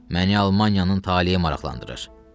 Məni Almaniyanın taleyi maraqlandırır.